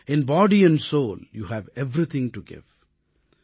in body and soul you have everything to give